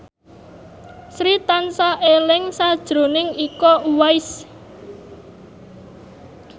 Sri tansah eling sakjroning Iko Uwais